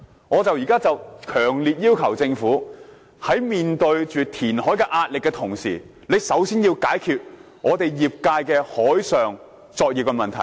我現在強烈要求政府，在面對填海壓力的同時，先要解決業界的海上作業問題。